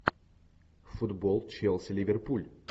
футбол челси ливерпуль